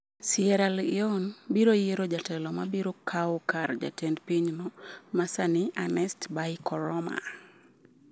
Sierra Leone biro yiero jatelo ma biro kawo kar jatend pinyno ma sani Ernest Bai Koroma